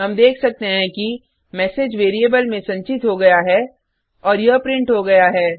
हम देख सकते हैं कि मेसेज वेरिएबल में संचित हो गया है और यह प्रिंट हो गया है